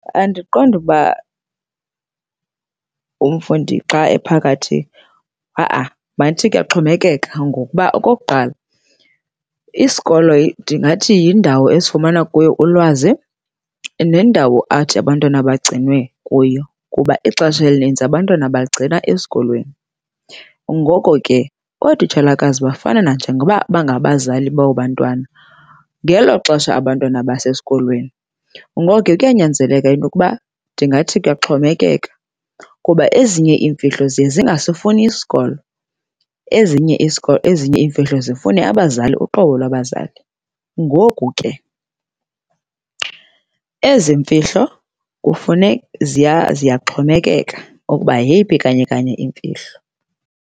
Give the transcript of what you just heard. Andiqondi ukuba umfundi xa ephakathi. Ha-ah, mandithi kuyaxhomekeka ngokuba okokuqala isikolo ndingathi yindawo esifumana kuyo ulwazi nendawo athi abantwana bagcinwe kuyo kuba ixesha elininzi abantwana bagcinwa esikolweni. Ngoko ke ootitshalakazi bafana nanjengokuba bangabazali babo bantwana ngelo xesha abantwana basesikolweni. Ngoko ke kuyanyanzeleka into yokuba, ndingathi kuyaxhomekeka kuba ezinye iimfihlo ziye zingasifuni isikolo, ezinye iimfihlo zifune abazali, uqobo lwabazali. Ngoku ke ezi mfihlo ziyaxhomekeka okuba yeyiphi kanye kanye imfihlo.